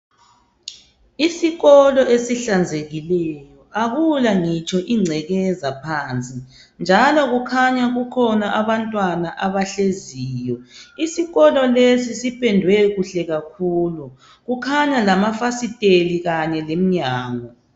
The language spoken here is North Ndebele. Isikolo ezihlanzekileyo akula ngitsho ingcekeza phansi njalo kukhanya kukhona abantwana abahleziyo isikolo lesi sipendwe kuhle kakhulu kukhanya lamafasiteli kanye leminyango